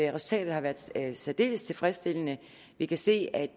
resultatet har været særdeles tilfredsstillende vi kan se at